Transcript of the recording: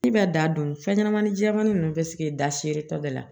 Ne bɛ da dun fɛn ɲɛnamani jɛmani ninnu bɛ sigi da seere tɔ de la